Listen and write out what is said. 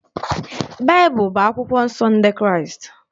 Baịbụl bụ akwụkwọ nsọ ndị kraịst